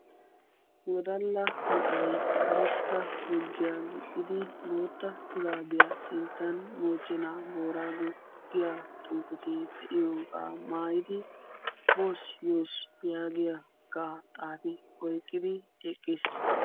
wodalla na'ay karetta gurddiya gixxidi bootta shuraabiya sinttan mochenaa booraago giya xufete de'iyoga mayidi bos yos yaagiyagaa xaafi oyikkidi eqqis.